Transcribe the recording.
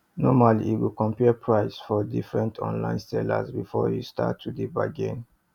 normally you go compare price for different online sellers before you start to dey bargain